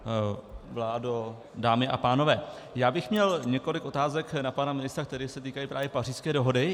Vládo, dámy a pánové, já bych měl několik otázek na pana ministra, které se týkají právě Pařížské dohody.